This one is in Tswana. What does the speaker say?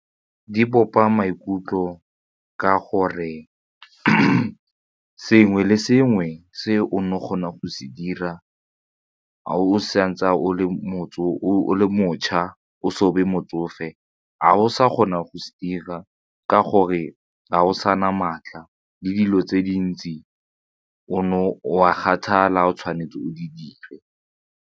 Di bopa maikutlo ka gore sengwe le sengwe se o nne o kgona go se dira o sa ntse o le motse o le motsofe ga o sa kgona go se dira ka gore ga go sana maatla le dilo tse dintsi o no wa o tshwanetse o di dire.